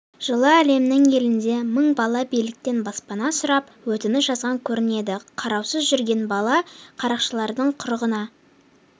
жылы әлемнің елінде мың бала биліктен баспана сұрап өтініш жазған көрінеді қараусыз жүрген бала қарақшылардың құрығына